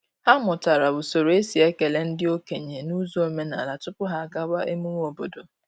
Ha mụtara usoro e si ekele ndị okenye n’ụzọ omenala tupu ha agawa emume obodo.